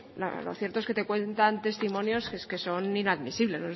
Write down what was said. lo cierto es que te cuentan testimonios que es que son inadmisibles